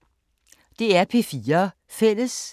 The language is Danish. DR P4 Fælles